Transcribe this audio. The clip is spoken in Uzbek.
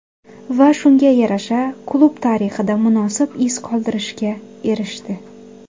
Va shunga yarasha klub tarixida munosib iz qoldirishga erishdi.